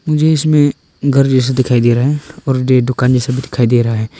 मुझे इसमें घर जैसा दिखाई दे रहा है दुकान भी दिखाई दे रहा है।